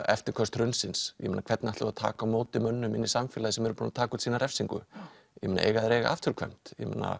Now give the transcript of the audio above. eftirköst hrunsins hvernig ætlum við að taka á móti mönnum inn í samfélagið sem eru búnir að taka út sína refsingu eiga þeir að eiga afturkvæmt